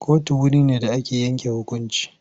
Kotu wure ne da ake yanke hukunci.